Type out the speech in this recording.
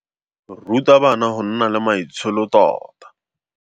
Ruta bana go nna le maitsholo tota.